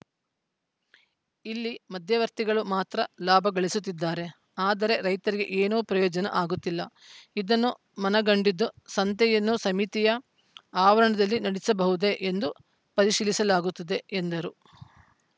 ಇಲ್ಲಿ ಮಧ್ಯವರ್ತಿಗಳು ಮಾತ್ರ ಲಾಭ ಗಳಿಸುತ್ತಿದ್ದಾರೆ ಆದರೆ ರೈತರಿಗೆ ಏನೂ ಪ್ರಯೋಜನ ಆಗುತ್ತಿಲ್ಲ ಇದನ್ನು ಮನಗಂಡಿದ್ದು ಸಂತೆಯನ್ನು ಸಮಿತಿಯ ಆವರಣದಲ್ಲೇ ನಡೆಸಬಹುದೇ ಎಂದು ಪರಿಶೀಲಿಸಲಾಗುತ್ತದೆ ಎಂದರು